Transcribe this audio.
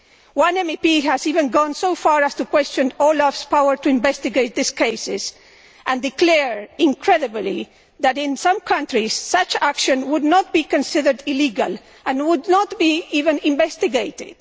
One MEP has even gone so far as to question OLAF's power to investigate these cases, declaring incredibly that in some countries such action would not be considered illegal and would not even be investigated.